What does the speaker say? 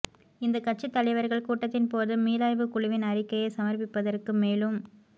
இந்த கட்சி தலைவர்கள் கூட்டத்தின் போது மீளாய்வு குழுவின் அறிக்கையை சமர்ப்பிப்பதற்கு மேலும்